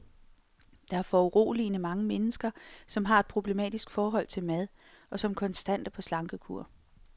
Der er foruroligende mange mennesker, som har et problematisk forhold til mad, og som konstant er på slankekur.